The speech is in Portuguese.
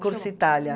Corsa Itália.